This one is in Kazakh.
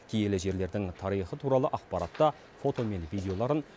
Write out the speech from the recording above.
киелі жерлердің тарихы туралы ақпаратты фото мен видеоларын